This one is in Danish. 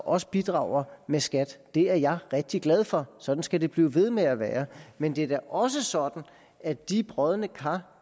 også bidrager ved skat det er jeg rigtig glad for og sådan skal det blive ved med at være men det er da også sådan at de brodne kar